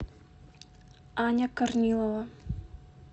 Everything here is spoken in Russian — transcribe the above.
аня корнилова